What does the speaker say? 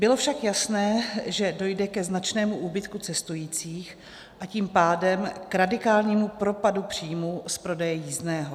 Bylo však jasné, že dojde ke značnému úbytku cestujících, a tím pádem k radikálnímu propadu příjmů z prodeje jízdného.